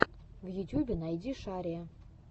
в ютюбе найди шария